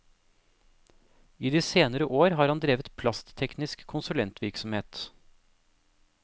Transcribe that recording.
I de senere år har han drevet plastteknisk konsulentvirksomhet.